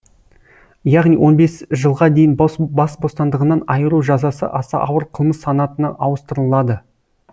яғни он бес жылға дейін бас бостандығынан айыру жазасы аса ауыр қылмыс санатына ауыстырылады